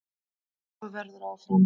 Svo verður áfram.